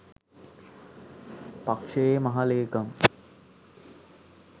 පක්ෂයේ මහ ලේකම්